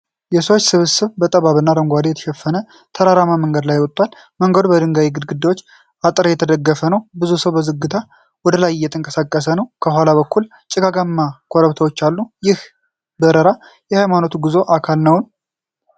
የሰዎች ስብስብ በጠባብና አረንጓዴ በተሸፈነ ተራራማ መንገድ ላይ ወጥቷል። መንገዱ በድንጋይ ግድግዳና አጥር የተደገፈ ነው። ብዙ ሰው በዝግታ ወደ ላይ እየተንቀሳቀሰ ነው። ከኋላ በኩል ጭጋጋማ ኮረብታዎች አሉ። ይህ በረራ የሃይማኖታዊ ጉዞ አካል ይሆን?